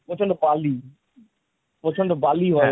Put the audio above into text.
প্রচন্ড বালি প্রচন্ড বালি হয়।